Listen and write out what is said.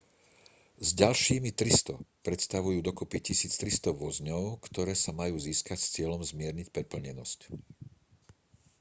s ďalšími 300 predstavujú dokopy 1 300 vozňov ktoré sa majú získať s cieľom zmierniť preplnenosť